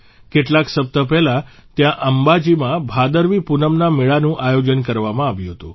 કેટલાક સપ્તાહ પહેલાં ત્યાં અંબાજીમાં ભાદરવી પૂનમના મેળાનું આયોજન કરવામાં આવ્યું હતું